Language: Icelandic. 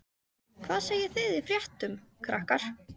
Hvað segið þið í fréttum, krakkar?